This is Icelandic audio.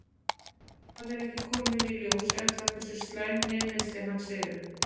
Það er ekki komið í ljós ennþá hversu slæm hnémeiðsli hans eru.